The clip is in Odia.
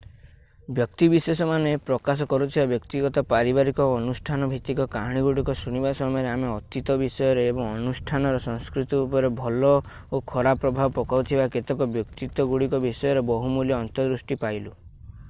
ବ୍ୟକ୍ତିବିଶେଷମାନେ ପ୍ରକାଶ କରୁଥିବା ବ୍ୟକ୍ତିଗତ ପାରିବାରିକ ଓ ଅନୁଷ୍ଠାନଭିତ୍ତିକ କାହାଣୀଗୁଡ଼ିକ ଶୁଣିବା ସମୟରେ ଆମେ ଅତୀତ ବିଷୟରେ ଏବଂ ଅନୁଷ୍ଠାନର ସଂସ୍କୃତି ଉପରେ ଭଲ ଓ ଖରାପ ପ୍ରଭାବ ପକାଉଥିବା କେତେକ ବ୍ୟକ୍ତିତ୍ୱଗୁଡ଼ିକ ବିଷୟରେ ବହୁମୂଲ୍ୟ ଅନ୍ତର୍ଦୃଷ୍ଟି ପାଇଲୁ